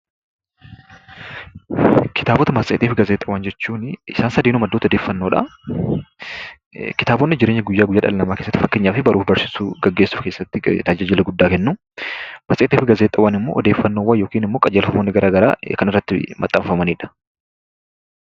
Kitaabotaa, matseeti fi gaazexaawwan jechuunni isaan sadeen maddoota oddeffannoodha. Kitaabonni jireenya dhala nama guyya guyyaa keessatti faakkeenyaaf baruu fi barsisuu keessatti tajaajila guddaa kenu. Matseeti fi gaazexaawwan immoo oddefannoowwan yookiin immoo qajeltowwan gara garaa kan irratti maxaanfamanidha.